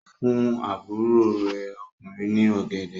Ó fún àbúrò rẹ̀ ọkùnrin ní ọ̀gẹ̀dẹ̀.